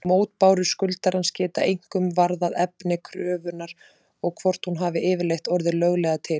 Mótbárur skuldarans geta einkum varðað efni kröfunnar og hvort hún hafi yfirleitt orðið löglega til.